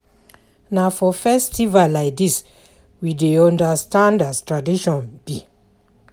Na for festival like dis we dey understand as tradition be.